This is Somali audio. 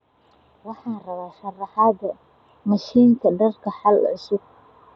Waxaan rabaa sharaxaadda mashiinka dharka xaal cusub. g.